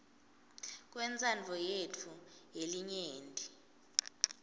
kwentsandvo yetfu yelinyenti